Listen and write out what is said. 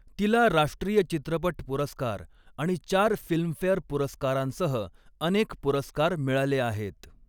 तिला राष्ट्रीय चित्रपट पुरस्कार आणि चार फिल्मफेअर पुरस्कारांसह अनेक पुरस्कार मिळाले आहेत.